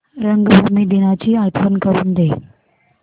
रंगभूमी दिनाची आठवण करून दे